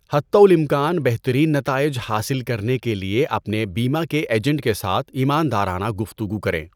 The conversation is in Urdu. حتی الامکان بہترین نتائج حاصل کرنے کے لیے اپنے بیمہ کے ایجنٹ کے ساتھ ایماندارانہ گفتگو کریں۔